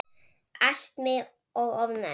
Astmi og ofnæmi